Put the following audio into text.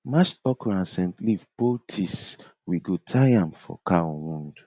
mashed okra and scent leaf poultice we go tie am for cow wound